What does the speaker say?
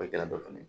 O kɛra dɔ fɛnɛ ye